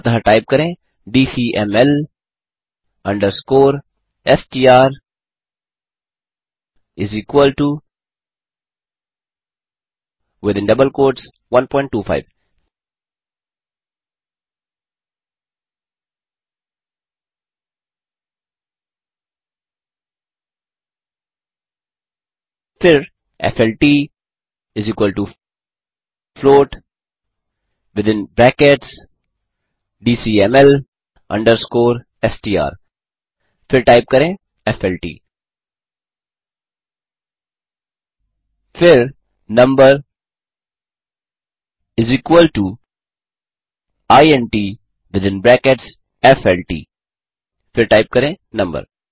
अतः टाइप करें D C M L underscore S T R is equal to within double quotes 125 फिर F L T float within brackets D C M L underscore str160 फिर type करें F L T फिर number is equal to int within brackets F L T फिर type करें number